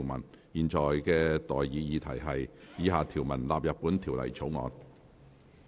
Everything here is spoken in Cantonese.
我現在向各位提出的待議議題是：以下條文納入本條例草案。